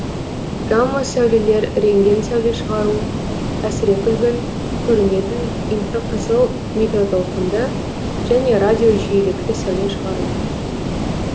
гамма сәулелер рентген сәуле шығару әсірекүлгін көрінетін инфрақызыл микротолқынды және радио жиілікті сәуле шығару